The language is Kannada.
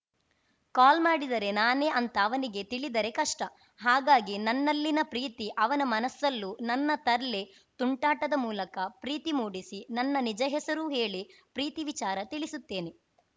ಕಾಲ್‌ ಮಾಡಿದರೆ ನಾನೇ ಅಂತ ಅವನಿಗೆ ತಿಳಿದರೆ ಕಷ್ಟ ಹಾಗಾಗಿ ನನ್ನಲ್ಲಿನ ಪ್ರೀತಿ ಅವನ ಮನಸ್ಸಲ್ಲೂ ನನ್ನ ತರ್ಲೆ ತುಂಟಾಟದ ಮೂಲಕ ಪ್ರೀತಿ ಮೂಡಿಸಿ ನನ್ನ ನಿಜ ಹೆಸರೂ ಹೇಳಿ ಪ್ರೀತಿ ವಿಚಾರ ತಿಳಿಸುತ್ತೇನೆ